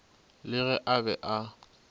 le ge a be a